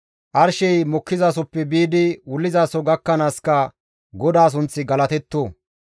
Arshey mokkizasoppe biidi wullizaso gakkanaaska GODAA sunththi galatetto!